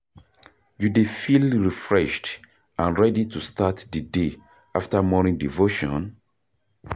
You dey feel refreshed and ready to start di day after morning devotion?